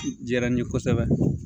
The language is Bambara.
Diyara n ye kosɛbɛ